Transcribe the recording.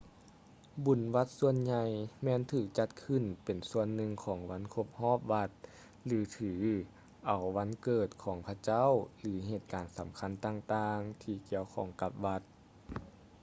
ບຸນວັດສ່ວນໃຫຍ່ແມ່ນຖືກຈັດຂຶ້ນເປັນສ່ວນໜຶ່ງຂອງວັນຄົບຮອບວັດ ຫຼື ຖືເອົາວັນເກີດຂອງພະເຈົ້າ ຫຼື ເຫດການສຳຄັນຕ່າງໆທີ່ກ່ຽວຂ້ອງກັບວັດ